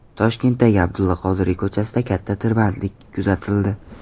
Toshkentdagi Abdulla Qodiriy ko‘chasida katta tirbandlik kuzatildi.